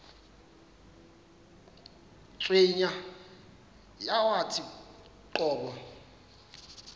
cweya yawathi qobo